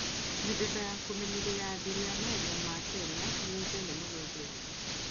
Mĩthemba ya kũmenyeria ya athuri a mahenya ma Kenya nĩ ĩĩkaine mũno thĩ yothe.